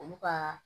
Olu ka